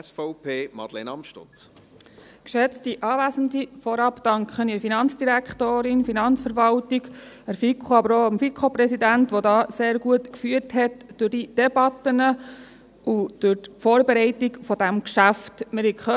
Vorab danke ich der FIN, der Finanzverwaltung, der FiKo, aber auch dem FiKo-Präsidenten, der sehr gut durch die Debatte und durch die Vorbereitung dieses Geschäfts geführt hat.